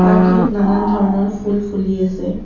পাৰ্কখনত নানান ধৰণৰ ফুল ফুলি আছে।